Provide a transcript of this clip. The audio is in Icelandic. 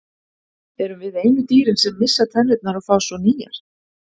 Erum við einu dýrin sem missa tennurnar og fá svo nýjar?